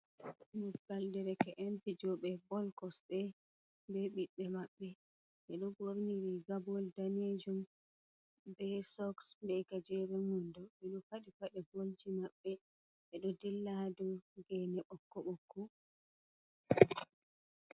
Mobgal dereke'en fijooɓe bol kosɗe bee ɓiɓɓe maɓɓe. Ɓe ɗo ɓorni riga bol daneejum bee soks, bee gajeren wando. Ɓe ɗo faɗi paaɗe bolji maɓɓe, ɓe ɗo dilla ha dow geene ɓokko-ɓokko.